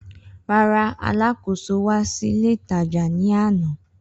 Rara, aláàkòso wa si ile itaja ni ana.